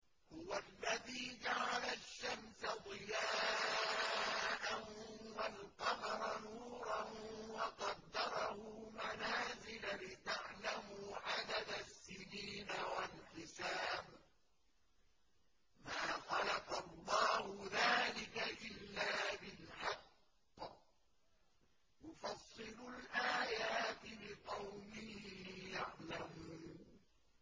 هُوَ الَّذِي جَعَلَ الشَّمْسَ ضِيَاءً وَالْقَمَرَ نُورًا وَقَدَّرَهُ مَنَازِلَ لِتَعْلَمُوا عَدَدَ السِّنِينَ وَالْحِسَابَ ۚ مَا خَلَقَ اللَّهُ ذَٰلِكَ إِلَّا بِالْحَقِّ ۚ يُفَصِّلُ الْآيَاتِ لِقَوْمٍ يَعْلَمُونَ